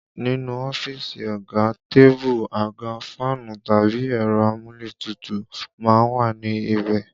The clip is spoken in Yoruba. Nínú ọ́fíìsì ọ̀gá, tébù, àga, fáànù tàbí ẹ̀rọ amúlétutù má ń wà ní ibẹ̀